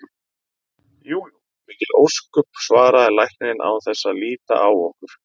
Jú jú, mikil ósköp, svaraði læknirinn án þess að líta á okkur.